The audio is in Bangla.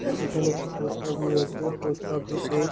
এখানে একটি পোস্ট অফিস আছে পোস্ট অফিস -এ--